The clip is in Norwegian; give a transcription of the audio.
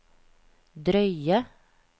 drøye